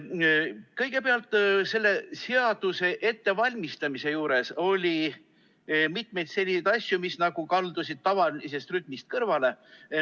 Kõigepealt, selle seaduse ettevalmistamise juures oli mitmeid selliseid asju, mis kaldusid nagu tavalisest rütmist kõrvale.